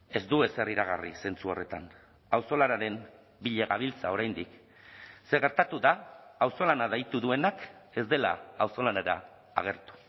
ez du ezer iragarri zentzu horretan auzolanaren bila gabiltza oraindik zer gertatu da auzolana deitu duenak ez dela auzolanera agertu